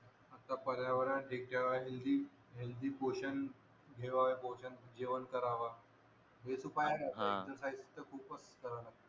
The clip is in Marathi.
आता पर्यावरण हेल्दी पोषण घेवावा पोषण जेवण करावा हेच उपाय हा एक्सरसायस तर खूपच कराव लागत